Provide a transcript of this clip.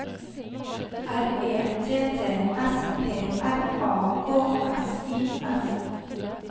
R E T T S P R A K S I S